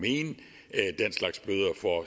og